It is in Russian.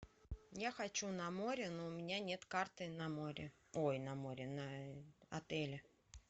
я хочу на море но у меня нет карты на море ой на море на отеле